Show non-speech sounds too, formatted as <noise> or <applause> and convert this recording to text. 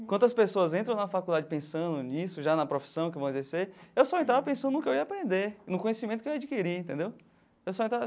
Enquanto as pessoas entram na faculdade pensando nisso, já na profissão que vão exercer, eu só entrava pensando no que eu ia aprender, no conhecimento que eu ia adquirir, entendeu? <unintelligible>